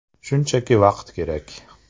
Shunchaki vaqt kerak.